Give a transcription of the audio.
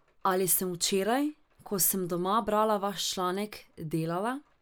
Ali sem včeraj, ko sem doma brala vaš članek, delala?